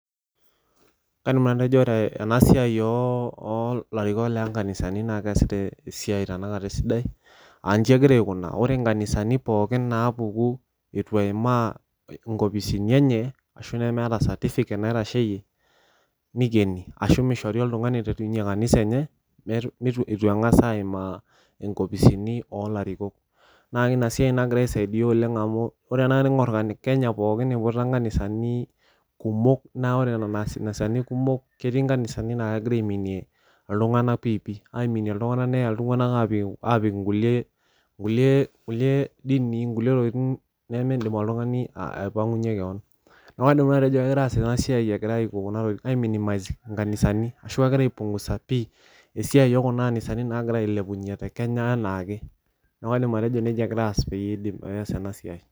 Kaidim atejo ore enasiai olarikok , oo larikok lo nkanisani naa keesita esiai tenakata esidai , aanji egira aikunaa , ore nkanisani pookin naapuku itu eimaa nkopisini enye ashu nemeeta certificate nikieni ashu mishori oltungani piterunyie kanisa enye ,metu , itu engas aimaa nkopisini olarikok naa inasiai nagira aisaidia oleng amu , ore tenakata teningor kenya pookin , iputa nkanisani kumok naa ore nena anisani kumok , etii nkanisani naa kegira aiminie iltunganak piipi , aiminie iltunganak , neya iltunganak apik inkulie , nkulie , nkulie dinii, nkulie tokitin nemindim oltungani aipangunyie kewon , niaku kaidim nanu atejo kidim ataas enatoki egirae aiminimise nkanisani ashu kegirae aipungusa pi esiai okuna anisani nagirae ailepunyie tekenya anaake niau kaidim atejo nejia egirae aas.